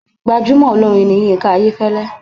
Gbajúmọ̀ olórin ni Yínká Ayéfẹ́lẹ́.